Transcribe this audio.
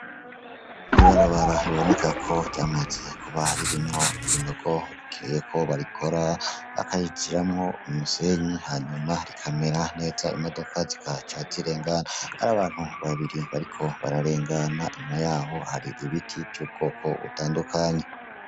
Ibarabara biboneka ko ryamaze kuba ririmwo ibinogo, rikeneye ko barikora, bakarishiramwo imisenyi, hanyuma rikamera neza, imodoka zikahaca zikarengana. Hari abantu babiri bariko bararengana ariko, inyuma yaho hariho ibiti bitandukanye .